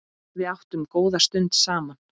Við áttum góða stund saman.